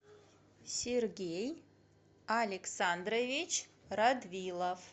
сергей александрович радвилов